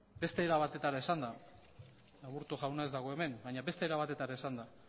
beste era batera esanda aburto jauna ez dago hemen baina beste era batera esanda